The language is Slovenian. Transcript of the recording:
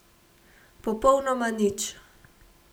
Popolnoma nič.